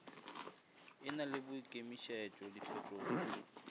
e na le boikemišetšo diphetogong